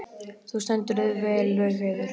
Þú stendur þig vel, Laugheiður!